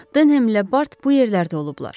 Denhemlə Bart bu yerlərdə olublar.